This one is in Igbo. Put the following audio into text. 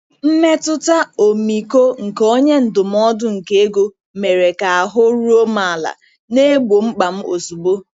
Mmetụta ọmịiko nke onye ndụmọdụ nke ego mere ka ahụ́ ruo m ala, na-egbo mkpa m ozugbo.